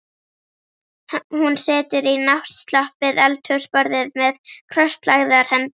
Hún situr í náttslopp við eldhúsborðið með krosslagðar hendur.